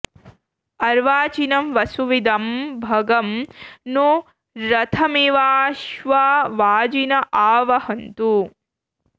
अर्वाचीनं वसुविदं भगं नो रथमिवाश्वा वाजिन आ वहन्तु